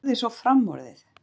Það er orðið svo framorðið.